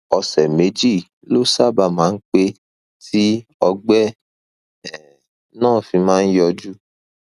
ọsẹ méjì ló sábà máa ń pẹ tí ọgbẹ um náà fi máa ń yọjú